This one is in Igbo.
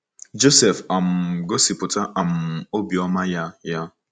Josef um gosipụta um obiọma ya. ya.